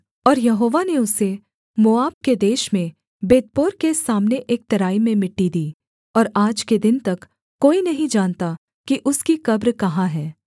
और यहोवा ने उसे मोआब के देश में बेतपोर के सामने एक तराई में मिट्टी दी और आज के दिन तक कोई नहीं जानता कि उसकी कब्र कहाँ है